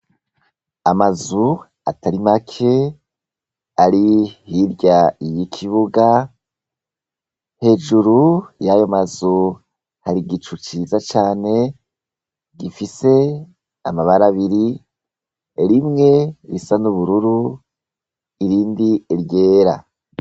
Amazu atari make ari hirya y'ikibuga, hejuru yayo mazu hari igicu ciza cane gifise amabara abiri, rimwe risa n'ubururu irindi ryera.